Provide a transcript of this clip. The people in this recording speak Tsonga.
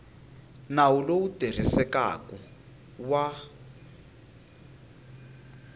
nawu lowu wu tirhisekaku wa